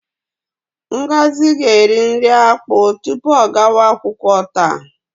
Ngozi ga-eri nri akpụ tupu ọ gawa akwụkwọ taa.